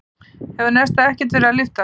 Hefur Nesta ekkert verið að lyfta?